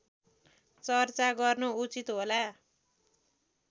चर्चा गर्नु उचित होला